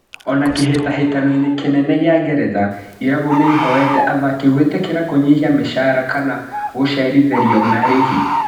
Ona kĩhĩtahĩtanoinĩ kĩnene gĩa Ngeretha, irabu nĩihoete athaki gwĩtĩkĩra kũnyihia mĩcara kana gũcerithĩrio marĩhi.